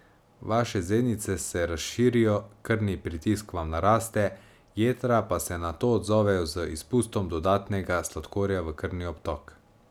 Vaše zenice se razširijo, krvni pritisk vam naraste, jetra pa se na to odzovejo z izpustom dodatnega sladkorja v krvni obtok.